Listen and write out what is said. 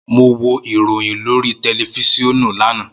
Mo wo iroyin lori tẹlifisiọnu lana.